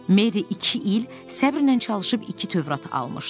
Meri iki il səbrlə çalışıb iki Tövrat almışdı.